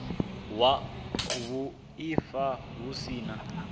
wa vhuaifa hu si na